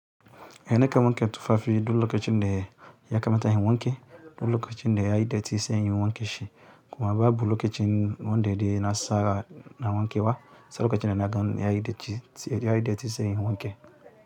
A nakan wanke tufafi duk lokacin da ya kamata in wanke, duk lokacin da ya yi datti sai in yi wanke shi. Kuma babu lokacin wanda dai na tsara na wanke wa, sai lokacin da na gan ya yi datti sai in yi wanke.